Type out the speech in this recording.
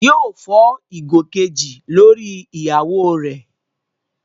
Yóò fọ́ ìgò kejì lórí ìyàwó rẹ̀